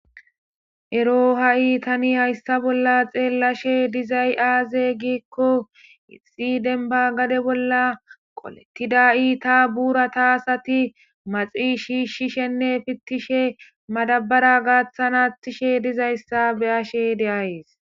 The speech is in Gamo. ero ha'i tani hayssa bolla xeellashe dizay aaze giikko issi denba gade bolla qolettida ita buurata asati maxi shishishenne pittishe madabara gaaththan attishe dizayssa beyashe de'ays.